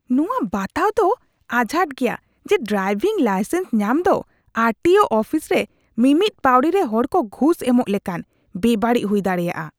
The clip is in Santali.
ᱱᱚᱶᱟ ᱵᱟᱛᱟᱣ ᱫᱚ ᱟᱡᱷᱟᱴᱟ ᱜᱮᱭᱟ ᱡᱮ ᱰᱨᱟᱭᱵᱷᱤᱝ ᱞᱟᱭᱥᱮᱱᱥ ᱧᱟᱢ ᱫᱚ ᱟᱨ ᱴᱤ ᱳ ᱚᱯᱷᱤᱥ ᱨᱮ ᱢᱤᱢᱤᱫ ᱯᱟᱹᱣᱲᱤ ᱨᱮ ᱦᱚᱲ ᱠᱚ ᱜᱷᱩᱥ ᱮᱢᱚᱜ ᱞᱮᱠᱟᱱ ᱵᱮᱵᱟᱹᱲᱤᱡ ᱦᱩᱭ ᱫᱟᱲᱮᱭᱟᱜᱼᱟ ᱾